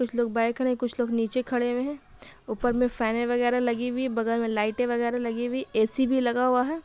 कुछ लोग खड़े कुछ लोग निचे खड़े हुए हैं। ऊपर मे फेने वगेरा लगी हुई बगल मे लाइटे वगेरा लगी हुई। ऐसी भी लगा हुआ है।